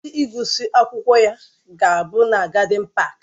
Oriri ngụsị akwụkwọ ya ga-abụ na gádịn páák